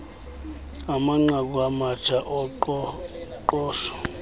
amanqaku amatsha oqoqosho